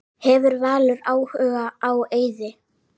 Hefur Valur áhuga á Eiði?